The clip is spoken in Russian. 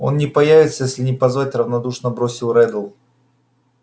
он не появится если не позвать равнодушно бросил реддл